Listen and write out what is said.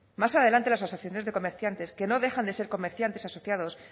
más adelante las asociaciones de comerciantes que no dejan de ser comerciantes asociados